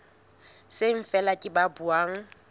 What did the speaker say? seng feela ke ba buang